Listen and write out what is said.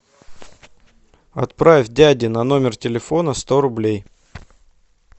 отправь дяде на номер телефона сто рублей